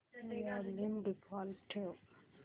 volume default ठेव